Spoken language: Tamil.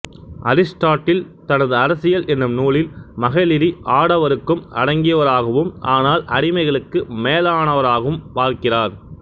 அரிசுட்டாட்டில் தனது அரசியல் எனும் நூலில் மகளிரி ஆடவருக்கும் அடங்கியவராகவும் ஆனால் அடிமைகளுக்கு மேலானவராகவும் பார்க்கிறார்